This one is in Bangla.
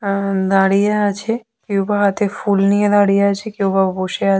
আ আ দাঁড়িয়ে আছে কেউ বা হাতে ফুল নিয়ে দাঁড়িয়ে আছে কেউ বা বসে আছে।